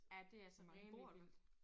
Ja det altså rimelig vildt